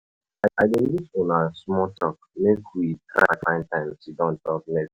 I i dey miss una small talk, make we try find time sidon talk next.